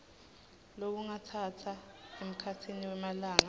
lokungatsatsa emkhatsini wemalanga